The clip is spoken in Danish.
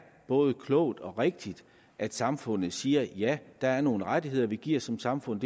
både klogt og rigtigt at samfundet siger ja der er nogle rettigheder vi giver som samfund